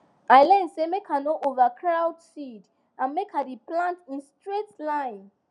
i learn say make i no overcrowd seed and make i dey plant in straight line